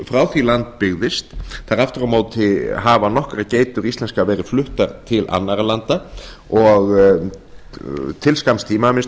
frá því land byggðist aftur á móti hafa nokkra geitur íslenskar verið fluttar til annarra landa til skamms tíma að minnsta